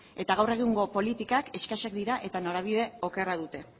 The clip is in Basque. eta gaur egungo politikak eskasak dira eta norabide okerra dute